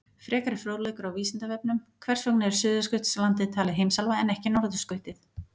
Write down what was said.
Frekari fróðleikur á Vísindavefnum: Hvers vegna er Suðurskautslandið talið heimsálfa en ekki norðurskautið?